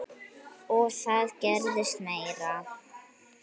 Og það gerðist meira.